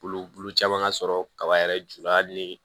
Bulu bulu caman ka sɔrɔ kaba yɛrɛ jula hali ni